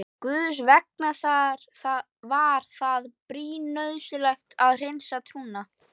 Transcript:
Guðs vegna var það brýn nauðsyn að hreinsa trúna.